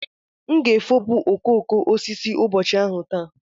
M ga-efopụ okooko osisi ụbọchị ahụ taa.